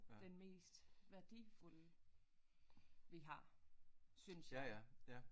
Den mest værdifulde vi har synes jeg